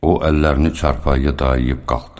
O əllərini çarpayıya dayayıb qalxdı.